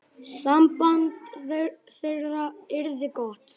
Samband þeirra yrði gott.